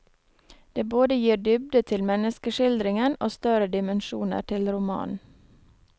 Det både gir dybde til menneskeskildringen og større dimensjoner til romanen.